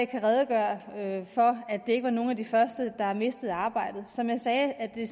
kan redegøre for at det ikke var nogle af de første der mistede arbejdet som jeg sagde er det